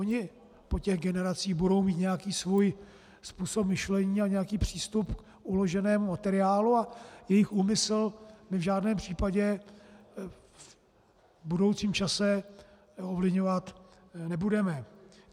Oni po těch generacích budou mít nějaký svůj způsob myšlení a nějaký přístup k uloženému materiálu a jejich úmysl my v žádném případě v budoucím čase ovlivňovat nebudeme.